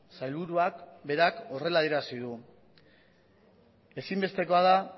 sailburuak berak horrela adierazi du ezinbestekoa da